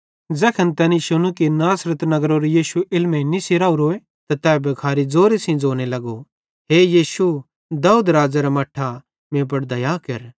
ज़ैखन तैनी शुनू कि नासरत नगरेरो यीशु इलमेइं निस्सी राओरोए त तै भिखारी ज़ोरे सेइं ज़ोने लगो हे यीशु दाऊद राज़ेरा मट्ठा मीं पुड़ दया केर